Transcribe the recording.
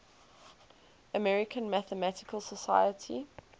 american mathematical society